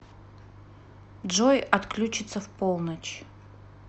джой отключится в полночь